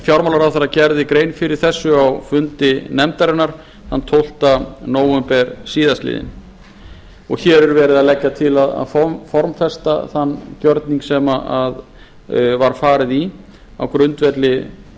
fjármálaráðherra gerði grein fyrir þessu á fundi nefndarinnar þann tólfta nóvember síðastliðinn hér er verið að leggja til að formfesta þann gjörning sem var farið í á grundvelli